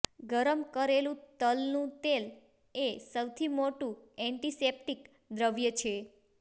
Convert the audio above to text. ગરમ કરેલું તલનું તેલ એ સૌથી મોટું એન્ટિસેપ્ટીક દ્રવ્ય છે